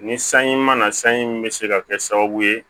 Ni sanji ma na sanji min bɛ se ka kɛ sababu ye